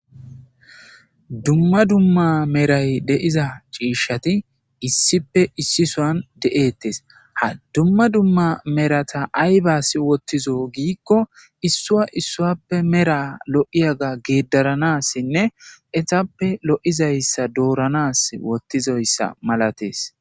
dumma dumma meray de7iza ciishshati issipe issisoan de7ettes ha dumma dumma merata aybas wottizo giikko issua issuappe mera lo7iyaga geeddaranassinne etappe lo7izayssa dooranas wottizoyssa malatees